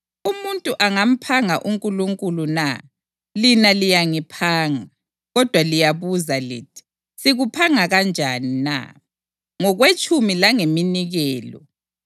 Umuntu angamphanga uNkulunkulu na? Lina liyangiphanga. Kodwa liyabuza lithi, ‘Sikuphanga kanjani na?’ Ngokwetshumi langeminikelo.